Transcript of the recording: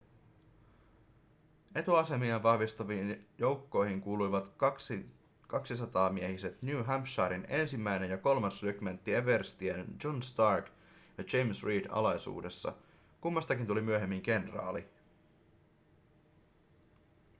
etuasemiaan vahvistaviin joukkoihin kuuluivat kaksisataamiehiset new hampshiren 1. ja 3. rykmentti everstien john stark ja james reed alaisuudessa kummastakin tuli myöhemmin kenraali